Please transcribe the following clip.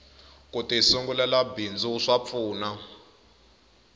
kuti sungulela bindzu swa pfuna